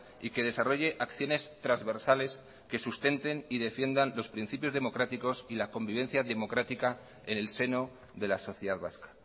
y que desarrolle acciones transversales que sustenten y defiendan los principios democráticos y la convivencia democrática en el seno de la sociedad vasca